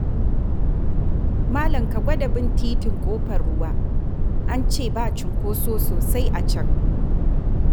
Malam, ka gwada bin titin Ƙofar Ruwa, an ce ba cunkoso sosai a can.